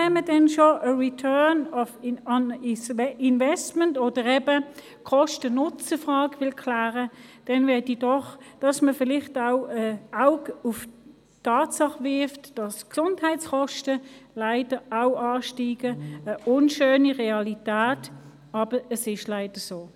Wenn wir schon den «Return on Investment» oder eben die Kosten-Nutzen-Frage klären wollen, dann möchte ich, dass man auch einen Blick auf die Tatsache wirft, dass leider auch die Gesundheitskosten steigen werden – eine unschöne Realität, aber es ist leider so.